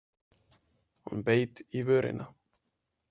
Hún beit í vörina.